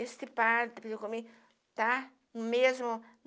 Esse padre está comigo, tá? Mesmo